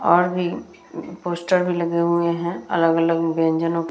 और भी पोस्टर भी लगे हुए हैं अलग-अलग व्यंजनो --